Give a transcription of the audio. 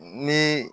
Ni